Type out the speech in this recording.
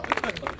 Zindabad!